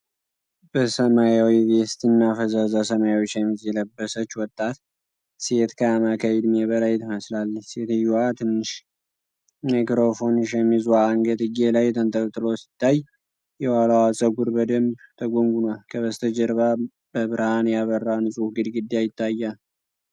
በሰማያዊ ቬስት እና ፈዛዛ ሰማያዊ ሸሚዝ የለበሰች ወጣት ሴት ከአማካይ ዕድሜ በላይ ትመስላለች። ሴትዮዋ ትንሽ ማይክሮፎን ከሸሚዟ አንገትጌ ላይ ተንጠልጥሎ ሲታይ፣ የኋላዋ ፀጉር በደንብ ተጎንጉኗል። ከበስተጀርባ በብርሃን ያበራ ንጹህ ግድግዳ ይታያል።